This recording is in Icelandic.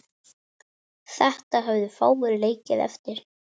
Við viljum líka fagna.